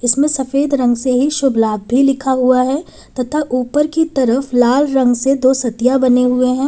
इसमें सफेद रंग से ही शुभ लाभ भी लिखा हुआ है तथा ऊपर की तरफ लाल रंग से दो सतिया बने हुए हैं।